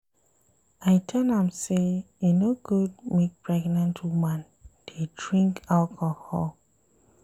I tell am sey e no good make pregnant woman dey drink alcohol.